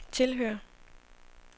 tilhører